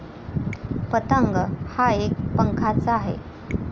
पतंग हा एक पंखाच आहे.